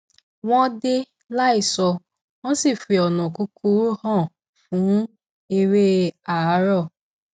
wọn dé láìsọ wọn sì fi ònà kúkúrú hàn fún eré àárọ